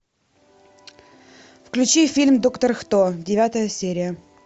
включи фильм доктор кто девятая серия